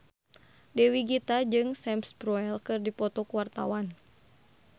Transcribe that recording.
Dewi Gita jeung Sam Spruell keur dipoto ku wartawan